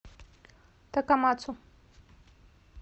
такамацу